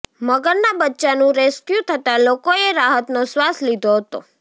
મગરના બચ્ચાનુ રેસ્ક્યૂ થતા લોકોએ રાહતનો શ્વાસ લીધો હતો